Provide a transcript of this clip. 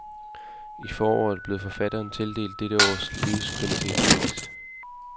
I foråret blev forfatteren tildelt dette års livskvalitetspris.